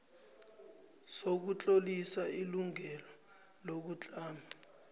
sokutlolisa ilungelo lokutlama